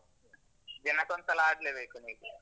ದಿನಕ್ಕೊಂದ್ಸಲ ಆಡ್ಲೇ ಬೇಕು ನಿಮ್ಗೆ.